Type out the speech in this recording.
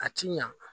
A ti ɲa